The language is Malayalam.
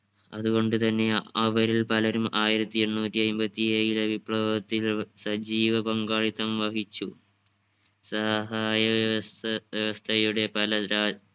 അതുകൊണ്ട് തന്നെയാ അവരിൽ പലരും ആയിരത്തി എഴുനൂറ്റി അയ്മ്പത്തി ഏഴിലെ വിപ്ലവത്തിൽ സജീവ പങ്കാളിത്തം വഹിച്ചു. സഹായ വ്യവസ്‌ വ്യവസ്ഥയുടെ പല രാ